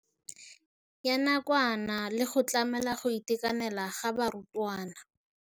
Ya nakwana le go tlamela go itekanela ga barutwana.